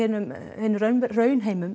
raunheimum